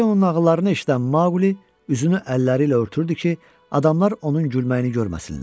Baldeonun nağıllarını eşidən Maqli üzünü əlləri ilə örtürdü ki, adamlar onun gülməyini görməsinlər.